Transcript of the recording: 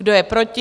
Kdo je proti?